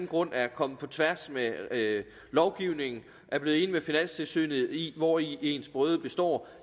grund er kommet på tværs af lovgivningen når er blevet enig med finanstilsynet i hvori ens brøde består